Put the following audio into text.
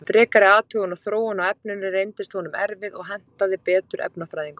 Frekari athugun og þróun á efninu reyndist honum erfið og hentaði betur efnafræðingum.